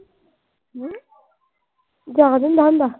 ਜਾਦ ਹੁੰਦਾ ਅਹ ਹੁੰਦਾ